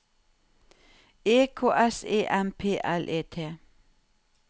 E K S E M P L E T